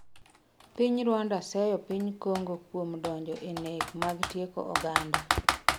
Piny Rwanda seyo piny Kongo kuom donjo e nek mag tieko oganda